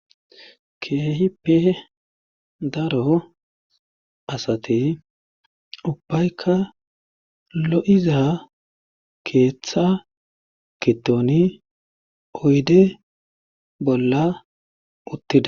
keehipe daro asati ubbaykka lo'iza keeththa gidoni oyde bolla uttida